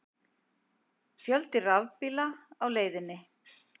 Fjöldi rafbíla á leiðinni